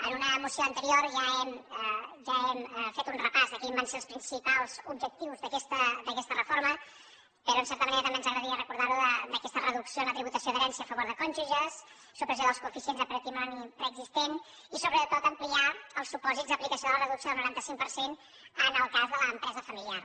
en una moció anterior ja hem fet un repàs de quins van ser els principals objectius d’aquesta reforma però en certa manera també ens agradaria recordar aquesta reducció en tributació d’herència a favor de cònjuges supressió dels coeficients de patrimoni preexistent i sobretot ampliar els supòsits d’aplicació de la reducció del noranta cinc per cent en el cas de l’empresa familiar